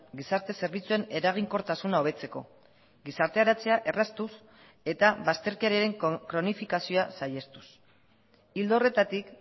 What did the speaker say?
gizarte zerbitzuen eraginkortasuna hobetzeko gizarteratzea erraztuz eta bazterkeriaren kronifikazioa saihestuz ildo horretatik